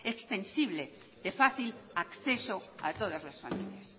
extensible de fácil acceso a todas las familias